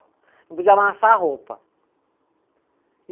Não podia amassar a roupa.